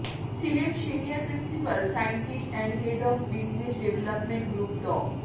ছিলেন senior principal scientist and head of business development group ড